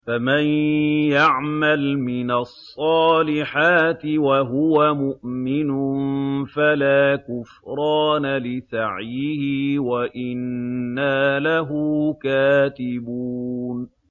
فَمَن يَعْمَلْ مِنَ الصَّالِحَاتِ وَهُوَ مُؤْمِنٌ فَلَا كُفْرَانَ لِسَعْيِهِ وَإِنَّا لَهُ كَاتِبُونَ